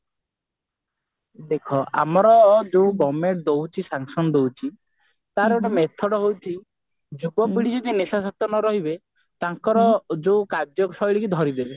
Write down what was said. ଦେଖ ଆମର ଯୋଉ government ଦଉଛି sanction ଦଉଛି ତାର ଗୋଟେ method ହେଉଛି ଯୁବପିଢି ଯଦି ନିଶାଶକ୍ତ ନ ରହିବେ ତାଙ୍କର ଯୋଉ କାର୍ଯଶାଇଲି ଧରିଦେବେ